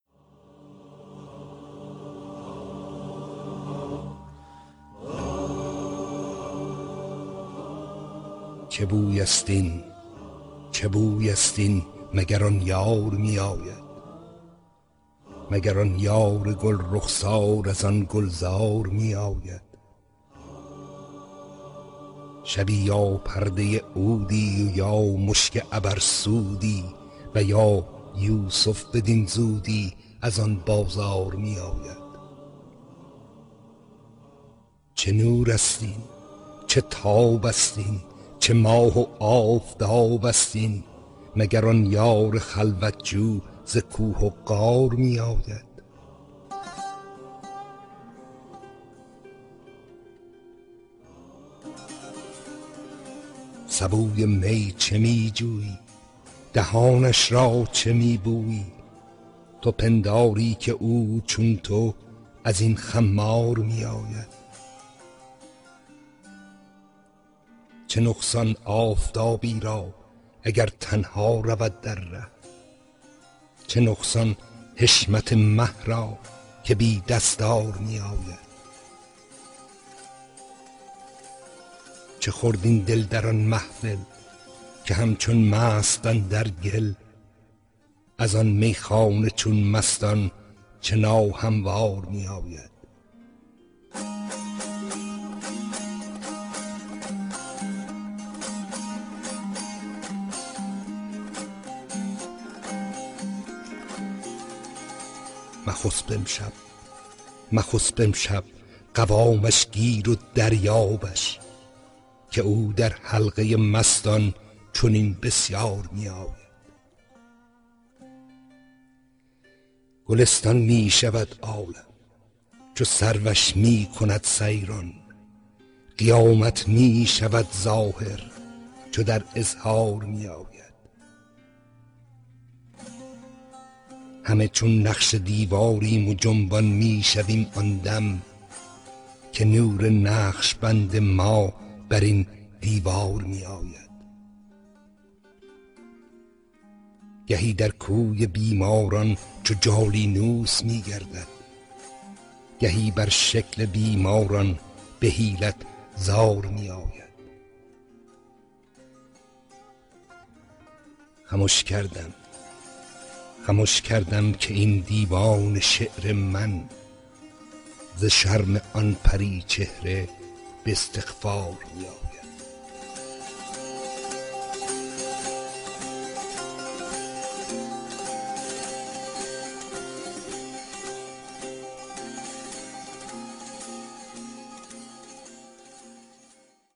چه بویست این چه بویست این مگر آن یار می آید مگر آن یار گل رخسار از آن گلزار می آید شبی یا پرده عودی و یا مشک عبرسودی و یا یوسف بدین زودی از آن بازار می آید چه نورست این چه تابست این چه ماه و آفتابست این مگر آن یار خلوت جو ز کوه و غار می آید سبوی می چه می جویی دهانش را چه می بویی تو پنداری که او چون تو از این خمار می آید چه نقصان آفتابی را اگر تنها رود در ره چه نقصان حشمت مه را که بی دستار می آید چه خورد این دل در آن محفل که همچون مست اندر گل از آن میخانه چون مستان چه ناهموار می آید مخسب امشب مخسب امشب قوامش گیر و دریابش که او در حلقه مستان چنین بسیار می آید گلستان می شود عالم چو سروش می کند سیران قیامت می شود ظاهر چو در اظهار می آید همه چون نقش دیواریم و جنبان می شویم آن دم که نور نقش بند ما بر این دیوار می آید گهی در کوی بیماران چو جالینوس می گردد گهی بر شکل بیماران به حیلت زار می آید خمش کردم خمش کردم که این دیوان شعر من ز شرم آن پری چهره به استغفار می آید